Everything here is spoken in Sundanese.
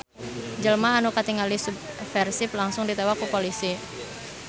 Jelma anu katinggali subversif langsung ditewak ku polisi